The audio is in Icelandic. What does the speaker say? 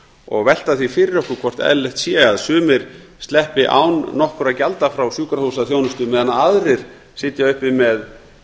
og velta því fyrir okkur hvort eðlilegt sé að sumir sleppi án nokkurra gjalda frá sjúkrahúsþjónustu meðan aðrir sitja uppi með